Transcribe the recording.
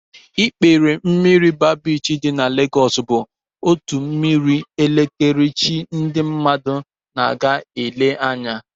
Ikpere mmiri baa biichi dị na Legos bụ otu mmiri ekerechi nke ndị mmadụ na-aga elere anya